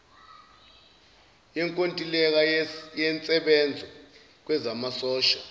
yenkontileka yensebenzo kwezamasosha